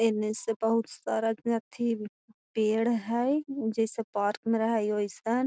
ऐन्ने से बहुत सारा न अत्थि पेड़ हय जैसे पार्क में रहई वैसन।